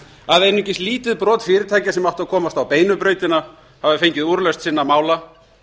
að einungis lítið brot fyrirtækja sem áttu að komast á beinu brautina hafi fengið úrlausn sinna mála